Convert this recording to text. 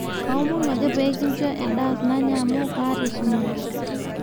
kaomonu ake peyie kinchoo endaa nanya amu kaata esumash